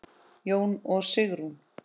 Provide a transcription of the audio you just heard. Jón og Sigrún.